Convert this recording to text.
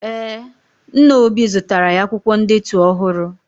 Ee, nna obi zụtara ya akwụkwọ ndetu ọhụrụ.